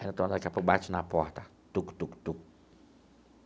Aí o Antônio daqui a pouco bate na porta, tuc, tuc, tuc.